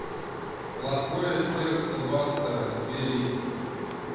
плохое сердце бастера набери